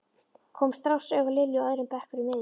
Kom strax auga á Lilju á öðrum bekk fyrir miðju.